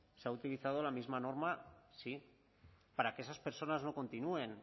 se ha utilizado la misma norma sí para que esas personas no continúen